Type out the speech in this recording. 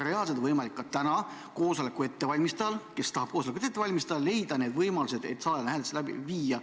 Reaalselt on võimalik ka täna koosoleku ettevalmistajal leida võimalus salajane hääletus läbi viia.